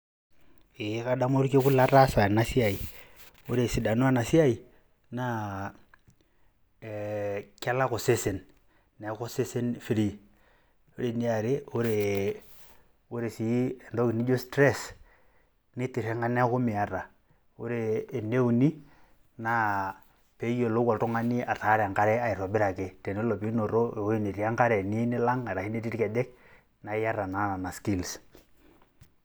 Ee kadamu orkekun lataasa enasiai. Ore esidano enasiai naa kelak osesen. Neeku osesen free. Ore eniare, ore si entoki naijo stress, nitirring'a neeku miata. Ore eneuni, naa peyiolou oltung'ani ataara enkare aitobiraki. Tenelo pinoto ewei netii enkare niyieu nilang' arashu netii irkejek, na iyata naa nena skills.